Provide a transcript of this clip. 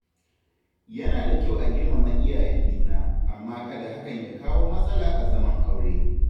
Yana da kyau a girmama iyayen juna, amma kada hakan ya kawo matsala a zaman aure.